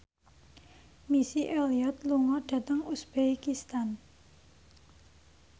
Missy Elliott lunga dhateng uzbekistan